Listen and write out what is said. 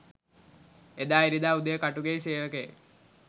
එදා ඉරිදා උදේ කටුගෙයි සේවකයෙක්